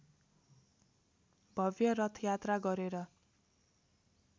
भव्य रथयात्रा गरेर